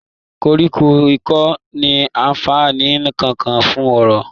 Koríko kò ní anfààní kankan fún oko.